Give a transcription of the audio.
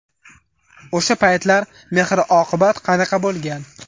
O‘sha paytlar mehr-oqibat qanaqa bo‘lgan?